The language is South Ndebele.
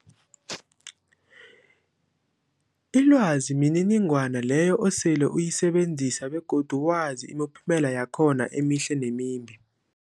Ilwazi mniningwana leyo osele uyisebenzisile begodu wazi imiphumela yakhona emihle nemimbi.